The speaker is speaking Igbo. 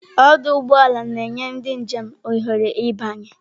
Ọdụ ụgbọ ala na-enye ndị njem ohere ịbanye.